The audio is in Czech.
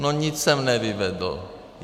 No nic jsem nevyvedl.